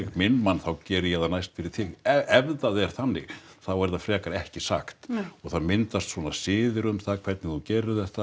minn mann þá geri ég það næst fyrir þig ef það er þannig þá er það frekar ekki sagt og það myndast svona siðir um það hvernig þú gerir þetta